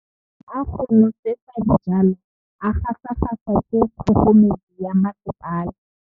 Metsi a go nosetsa dijalo a gasa gasa ke kgogomedi ya masepala.